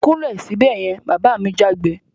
Kúnlẹ̀ sibẹ̀ yen! Bàbá mi jágbe